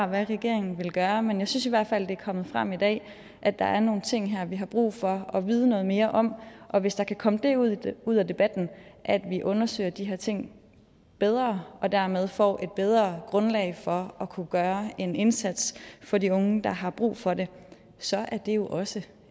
hvad regeringen vil gøre men jeg synes i hvert fald at det er kommet frem i dag at der er nogle ting her vi har brug for at vide noget mere om og hvis der kan komme det ud det ud af debatten at vi undersøger de her ting bedre og dermed får et bedre grundlag for at kunne gøre en indsats for de unge der har brug for det så er det jo også